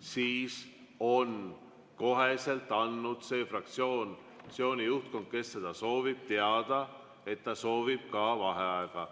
siis on kohe andnud selle fraktsiooni juhtkond, kes seda soovib, teada, et ta soovib ka vaheaega.